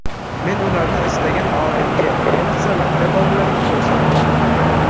Men ularni istagan odamga, ayniqsa, maktab bolalariga ko‘rsataman.